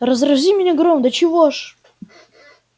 разрази меня гром до чего ж